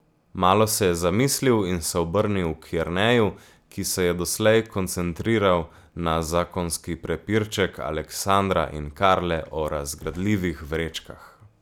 Malo se je zamislil in se obrnil k Jerneju, ki se je doslej koncentriral na zakonski prepirček Aleksandra in Karle o razgradljivih vrečkah.